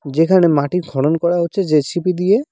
যেখানে মাটি খনন করা হচ্ছে জে_সি_বি দিয়ে।